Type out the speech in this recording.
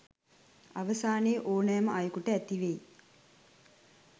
අවසානයේ ඕනෑම අයකුට ඇතිවෙයි.